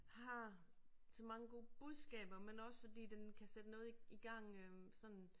Har så mange gode budskaber men også fordi den kan sætte noget i i gang øh sådan